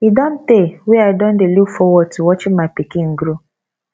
e don tey wey i don dey look forward to watching my pikin grow